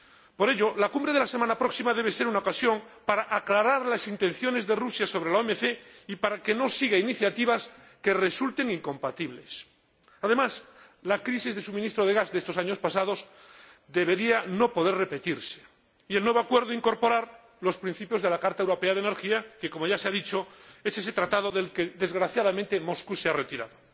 Por ello, la Cumbre de la semana próxima debe ser una ocasión para aclarar las intenciones de Rusia sobre la OMC y para que no siga iniciativas que resulten incompatibles. Además, la crisis de suministro de gas de estos años pasados debería no poder repetirse y el nuevo acuerdo ha de incorporar los principios de la Carta Europea de Energía que, como ya se ha dicho, es ese tratado del que, desgraciadamente, Moscú se ha retirado.